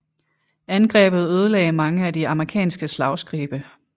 Angrebet ødelagde mange af de amerikanske slagskibe